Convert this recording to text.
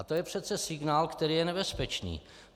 A to je přece signál, který je nebezpečný.